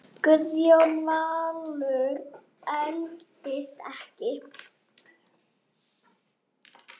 Guðjón Valur eldist ekki.